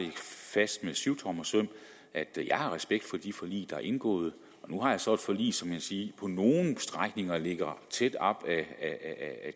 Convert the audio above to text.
fast med syvtommersøm at jeg har respekt for de forlig der er indgået nu har jeg så et forlig som man kan sige på nogle strækninger ligger tæt op af